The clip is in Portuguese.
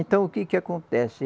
Então, o que que acontece?